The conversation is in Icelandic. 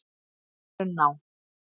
Brunná